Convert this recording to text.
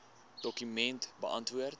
dokument beantwoord